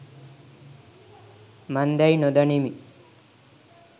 මන්දැයි නොදනිමි.